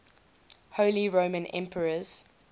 holy roman emperors